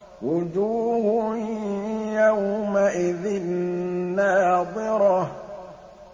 وُجُوهٌ يَوْمَئِذٍ نَّاضِرَةٌ